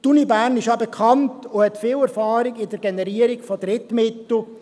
Die Universität Bern ist bekannt und hat viel Erfahrung in der Generierung von Drittmitteln.